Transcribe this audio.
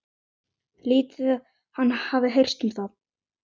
Lítið hafi heyrst um það.